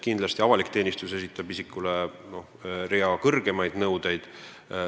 Kindlasti esitab avalik teenistus isikule terve hulga kõrgemaid nõudeid.